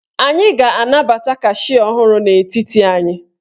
Anyị ga-anabata kashịa ọhụrụ n'etiti anyị.